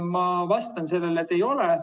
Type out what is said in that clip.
" Ma vastan sellele, et ei ole.